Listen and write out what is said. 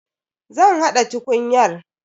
Zan haɗa tukunyar.